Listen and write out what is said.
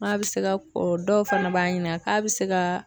N'a bɛ se ka ko dɔw fana b'an ɲina k'a bɛ se ka